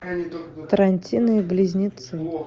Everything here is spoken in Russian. тарантино и близнецы